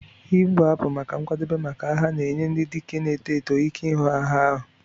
"Ịgbu abụ maka nkwadebe maka agha na-enye ndị dike na-eto eto ike ihu agha ahụ.